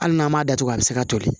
Hali n'a m'a datugu a bɛ se ka toli